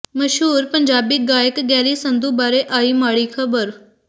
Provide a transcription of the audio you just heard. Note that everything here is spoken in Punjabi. ਮਸ਼ਹੂਰ ਪੰਜਾਬੀ ਗਾਇਕ ਗੈਰੀ ਸੰਧੂ ਬਾਰੇ ਆਈ ਮਾੜੀ ਖਬਰ